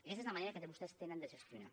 aquesta és la manera que vostès tenen de gestionar